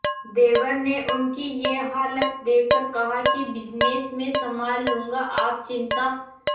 देवर ने उनकी ये हालत देखकर कहा कि बिजनेस मैं संभाल लूंगा आप चिंता